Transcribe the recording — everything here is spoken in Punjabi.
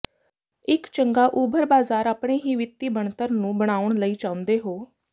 ਇੱਕ ਚੰਗਾ ਉਭਰ ਬਾਜ਼ਾਰ ਆਪਣੇ ਹੀ ਵਿੱਤੀ ਬਣਤਰ ਨੂੰ ਬਣਾਉਣ ਲਈ ਚਾਹੁੰਦੇ ਹੋ